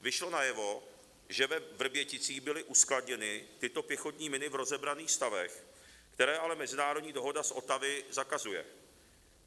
Vyšlo najevo, že ve Vrběticích byly uskladněny tyto pěchotní miny v rozebraných stavech, které ale mezinárodní dohoda z Ottawy zakazuje.